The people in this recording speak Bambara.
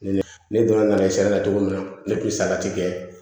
Ne donna nali sariya la cogo min na ne kun bɛ salati kɛ